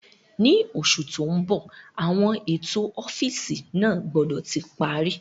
Ní oṣù tó ń bọ̀ àwọn ètò ọ́fíìsì náà gbọ́dọ̀ ti parí